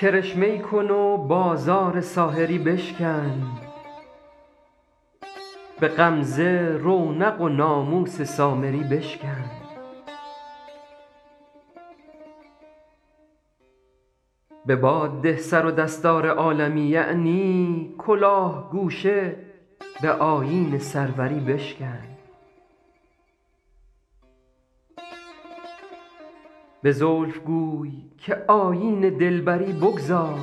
کرشمه ای کن و بازار ساحری بشکن به غمزه رونق و ناموس سامری بشکن به باد ده سر و دستار عالمی یعنی کلاه گوشه به آیین سروری بشکن به زلف گوی که آیین دلبری بگذار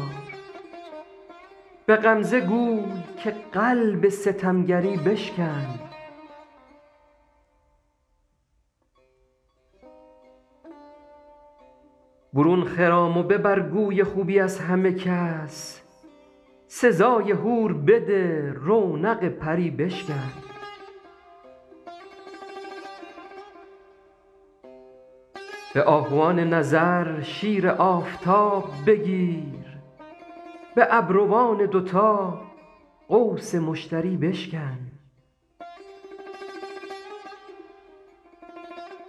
به غمزه گوی که قلب ستمگری بشکن برون خرام و ببر گوی خوبی از همه کس سزای حور بده رونق پری بشکن به آهوان نظر شیر آفتاب بگیر به ابروان دوتا قوس مشتری بشکن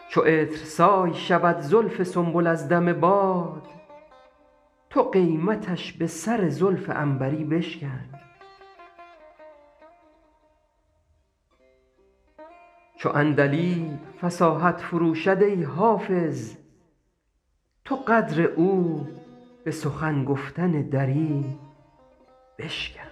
چو عطرسای شود زلف سنبل از دم باد تو قیمتش به سر زلف عنبری بشکن چو عندلیب فصاحت فروشد ای حافظ تو قدر او به سخن گفتن دری بشکن